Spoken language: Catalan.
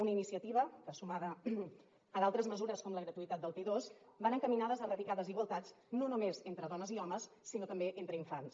una iniciativa que sumada a d’altres mesures com la gratuïtat del p2 va encaminada a erradicar desigualtats no només entre dones i homes sinó també entre infants